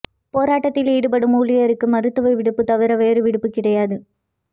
போராட்டத்தில் ஈடுபடும் ஊழியர்களுக்கு மருத்துவ விடுப்பு தவிர வேறு விடுப்பு கிடையாது